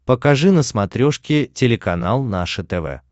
покажи на смотрешке телеканал наше тв